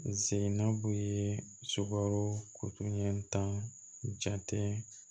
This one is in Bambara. N seginna b'o ye sukaro ɲɛ tan